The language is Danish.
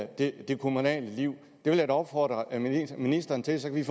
det kommunale liv det vil jeg da opfordre ministeren til så vi